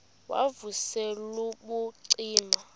wav usel ubucima